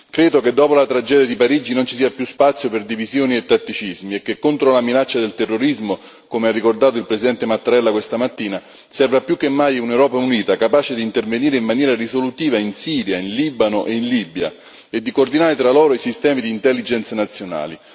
Credo che dopo la tragedia di Parigi non ci sia più spazio per divisioni e tatticismi e che contro la minaccia del terrorismo, come ha ricordato il presidente Mattarella questa mattina, serva più che mai un'Europa unita, capace di intervenire in maniera risolutiva, in Siria, in Libano, in Libia e di coordinare tra loro i sistemi di intelligence nazionali.